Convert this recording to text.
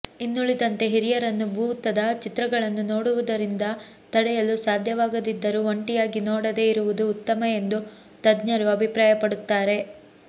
ಇನ್ನುಳಿದಂತೆ ಹಿರಿಯರನ್ನು ಭೂತದ ಚಿತ್ರಗಳನ್ನು ನೋಡುವುದರಿಂದ ತಡೆಯಲು ಸಾಧ್ಯವಾಗದಿದ್ದರೂ ಒಂಟಿಯಾಗಿ ನೋಡದೇ ಇರುವುದು ಉತ್ತಮ ಎಂದು ತಜ್ಞರು ಅಭಿಪ್ರಾಯಪಡುತ್ತಾರೆ